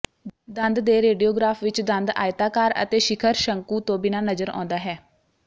ਦੰਦ ਦੇ ਰੇਡੀਓਗ੍ਰਾਫ ਵਿੱਚ ਦੰਦ ਆਇਤਾਕਾਰ ਅਤੇ ਸ਼ਿਖਰ ਸ਼ੰਕੂ ਤੋਂ ਬਿਨਾ ਨਜ਼ਰ ਆਉਂਦਾ ਹੈ